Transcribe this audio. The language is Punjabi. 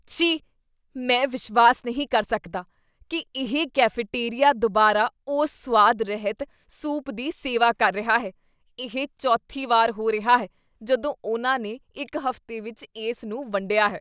ਛੀ , ਮੈਂ ਵਿਸ਼ਵਾਸ ਨਹੀਂ ਕਰ ਸਕਦਾ ਕੀ ਇਹ ਕੈਫੇਟੇਰੀਆ ਦੁਬਾਰਾ ਉਸ ਸੁਆਦ ਰਹਿਤ ਸੂਪ ਦੀ ਸੇਵਾ ਕਰ ਰਿਹਾ ਹੈ। ਇਹ ਚੌਥੀ ਵਾਰ ਹੋ ਰਿਹਾ ਹੈ ਜਦੋਂ ਉਨ੍ਹਾਂ ਨੇ ਇੱਕ ਹਫ਼ਤੇ ਵਿੱਚ ਇਸ ਨੂੰ ਵੰਡਿਆ ਹੈ।